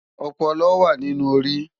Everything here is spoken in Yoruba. Òpòlò wá ninú óri